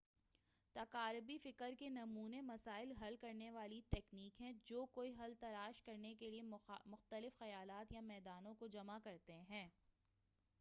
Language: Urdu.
تقاربی فکر کے نمونے مسائل حل کرنے والی تکنیک ہیں جو کوئی حل تلاش کرنے کے لئے مختلف خیالات یا میدانوں کو جمع کرتے ہیں